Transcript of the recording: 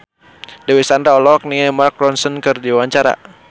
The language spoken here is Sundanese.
Dewi Sandra olohok ningali Mark Ronson keur diwawancara